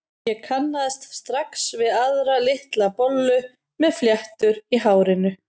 Ég kannaðist strax við aðra, litla bollu með fléttur í hárinu.